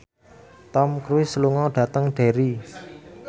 Tom Cruise lunga dhateng Derry